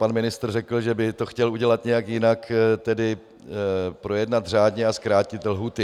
Pan ministr řekl, že by to chtěl udělat nějak jinak, tedy projednat řádně a zkrátit lhůty.